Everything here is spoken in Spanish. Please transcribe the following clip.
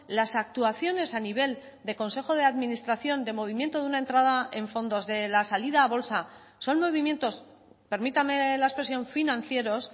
las actuaciones a nivel de consejo de administración de movimiento de una entrada en fondos de la salida a bolsa son movimientos permítame la expresión financieros